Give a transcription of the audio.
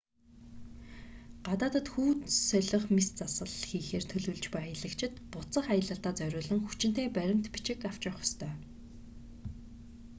гадаадад хүйс солих мэс засал хийхээр төлөвлөж буй аялагчид буцах аялалдаа зориулсан хүчинтэй баримт бичиг авч явах ёстой